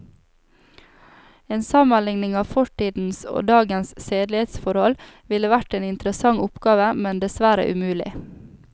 En sammenligning av fortidens og dagens sedelighetsforhold ville vært en interessant oppgave, men dessverre umulig.